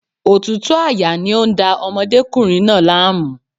Òtútù àyà ni ó ń da ọmọdékùnrin náà láàmú.